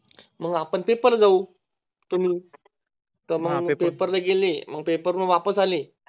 मग आपण Paper ला जाऊ तुं तर मग Paper ला गेले Paper हुन वापस आले